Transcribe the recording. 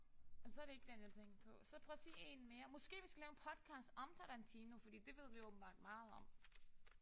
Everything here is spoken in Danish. Men så er det ikke den jeg tænkte på. Så prøv at sige én mere. Måske vi skal lave en podcast om Tarantino fordi det ved vi åbenbart meget om